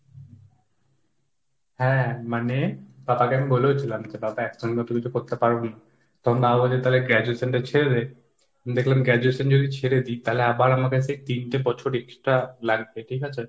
হ্যাঁ মানে, তাহলে আমি বলেও ছিলাম যে বাবা একসঙ্গে তুমি তো করতে পারো নি। তখন বাবা বলল তালে graduation টা ছেড়ে দে। দেখলাম graduation যদি ছেড়ে দিই তালে আবার আমাকে সেই তিনটে বছর extra লাগবে ঠিক আছে,